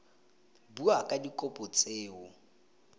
bua ka dikopo tse o